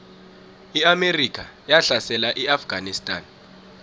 iamerika yahlasela iafganistan